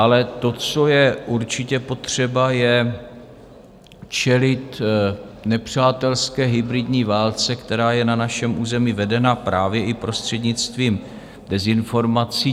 Ale to, co je určitě potřeba, je čelit nepřátelské hybridní válce, která je na našem území vedena právě i prostřednictvím dezinformací.